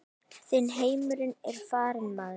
Þinn heimur er farinn maður.